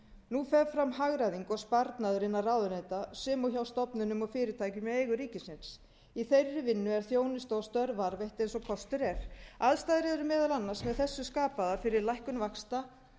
nú fer fram hagræðing og sparnaður innan ráðuneyta sem og hjá stofnunum og fyrirtækjum í eigu ríkisins í þeirri vinnu er þjónusta og störf varðveitt eins dag kostur er aðstæður eru meðal annars með þessu skapaðar fyrir lækkun vaxta